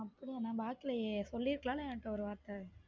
அப்படியா நான் பாக்கலையே சொல்லி இருக்கலாம் இல்ல என்கிட்ட ஒரு வார்த்தை